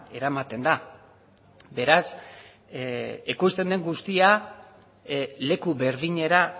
eramaten da beraz ekoizten den guztia leku berdinera